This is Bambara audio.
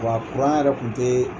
Wa yɛrɛ kun tɛ